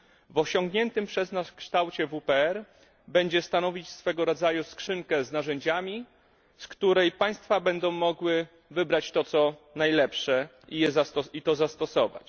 W osiągniętym przez nas kształcie WPR będzie stanowić swojego rodzaju skrzynkę z narzędziami, z której państwa będą mogły wybrać najlepsze i je zastosować.